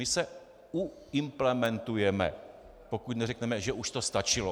My se uimplementujeme, pokud neřekneme, že už to stačilo.